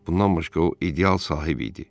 Bundan başqa o ideal sahib idi.